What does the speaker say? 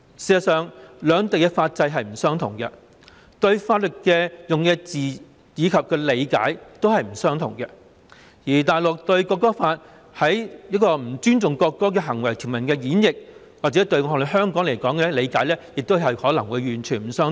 事實上，兩地的法制並不相同，法律所使用的字眼及對法律的理解亦不相同，而大陸對《國歌法》條文中不尊重國歌行為的演繹，與香港的理解亦可能完全不相同。